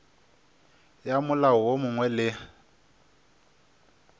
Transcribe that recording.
ya molao wo mongwe le